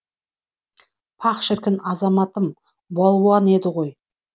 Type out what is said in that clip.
паһ шіркін азаматым балуан еді ғой